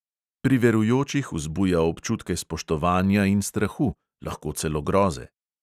Pri verujočih vzbuja občutke spoštovanja in strahu, lahko celo groze.